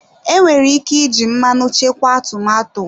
Enwere ike iji mmanụ chekwa tomato.